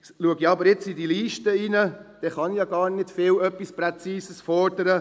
Schaue ich jedoch auf diese Liste, dann kann ich gar nichts Präzises fordern;